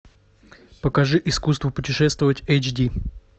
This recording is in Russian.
покажи искусство путешествовать эйч ди